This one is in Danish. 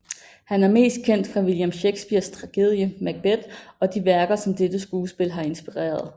Han er mest kendt fra William Shakespeares tragedie Macbeth og de værker som dette skuespil har inspireret